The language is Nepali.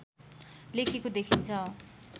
लेखेको देखिन्छ